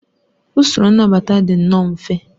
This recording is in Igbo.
Usoro nnabata dị nnọọ mfe